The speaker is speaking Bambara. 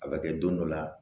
A bɛ kɛ don dɔ la